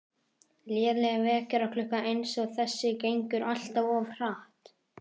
Léleg vekjaraklukka eins og þessi gengur alltaf of hratt